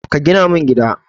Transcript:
Ka gina min gida.